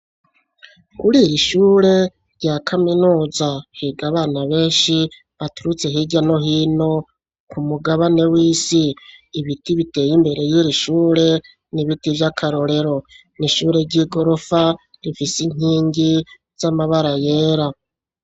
Kuri iri ishure rya kaminuza higa bana benshi baturutse hirya no hino ku mugabane w'isi ibiti biteye imbere y'iri ishure nibiti vy'akarorero n'ishure ry'i gorofa rifise inkingi z'amabara yera.